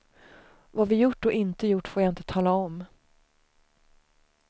Vad vi gjort och inte gjort får jag inte tala om.